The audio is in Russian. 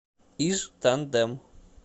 иж тандем